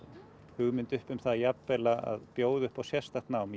hugmyndir uppi um að bjóða upp á sérstakt nám